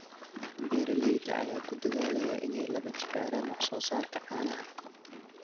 Beeralayda ayaa ku dadaalaya inay laba jibaaraan wax soo saarka caanaha.